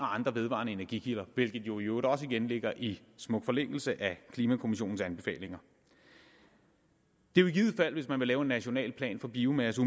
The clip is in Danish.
andre vedvarende energikilder hvilket jo i øvrigt også igen ligger i smuk forlængelse af klimakommissionens anbefalinger det vil i givet fald hvis man vil lave en national plan for biomasse